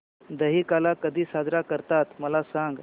दहिकाला कधी साजरा करतात मला सांग